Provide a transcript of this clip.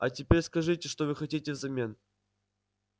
а теперь скажите что вы хотите взамен